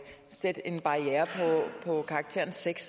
sætte en barriere på karakteren sjette